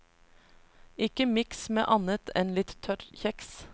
Ikke mix med annet enn litt tørr kjeks.